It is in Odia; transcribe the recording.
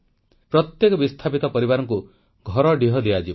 ପ୍ରତ୍ୟେକ ବିସ୍ଥାପିତ ପରିବାରଙ୍କୁ ଘରଡିହ ଦିଆଯିବ